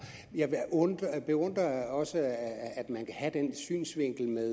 jeg beundrer også at man kan have den synsvinkel med